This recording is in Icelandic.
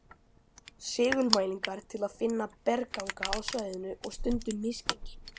Segulmælingar til að finna bergganga á svæðinu og stundum misgengi.